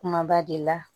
Kumaba de la